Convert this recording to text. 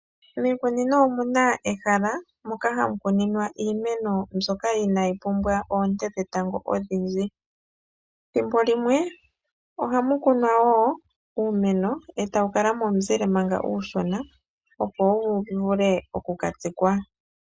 Miikunino omuna ehala moka hamu kuninwa iimeno mbyoka inaayi pumbwa oonte dhetango odhindji. Thimbo limwe ohamu kunwa uumeno etawu kala momuzile manga uushona opo wuvule oku katsikwa.